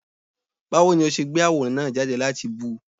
Báwo ni ó ṣe gbé àwòrán náà jáde láti bú ú?